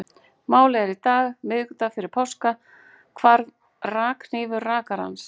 Málið er að í dag, miðvikudag fyrir páska, hvarf rakhnífur rakarans.